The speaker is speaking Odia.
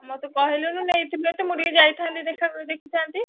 ମତେ କହିଲୁନି ମୁଁ ନେଇଥିଲେ ଟିକେ ଯାଇଥାନ୍ତି ଦେଖା~ଦେଖିଥାନ୍ତି।